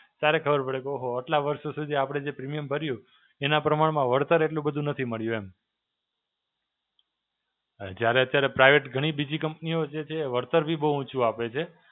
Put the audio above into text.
ત્યારે ખબર પડે કે હો હો આટલા વર્ષો સુધી આપડે જે premium ભર્યું એના પ્રમાણમાં વળતર એટલું બધું નથી મળ્યું એમ. જ્યારે અત્યારે private ઘણી બીજી company ઓ જે છે એ વળતર બી બહું ઓછું આપે છે.